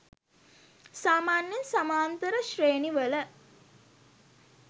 සාමාන්‍යයෙන් සමාන්තර ශ්‍රේණි වල